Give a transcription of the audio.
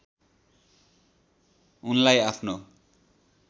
उनलाई आफ्नो